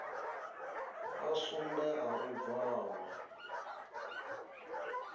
a sumbe a u bvalwa